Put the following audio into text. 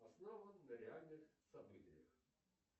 основан на реальных событиях